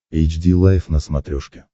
эйч ди лайф на смотрешке